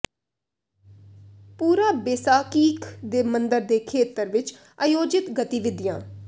ਪੂਰਾ ਬੇਸਾਕੀਖ ਦੇ ਮੰਦਰ ਦੇ ਖੇਤਰ ਵਿੱਚ ਆਯੋਜਿਤ ਗਤੀਵਿਧੀਆਂ